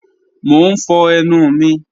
Mọ̀ n fọ̀ ẹnu mi